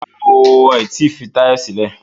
Rárá o, wọn ò tí fi Táyọ̀ sílẹ̀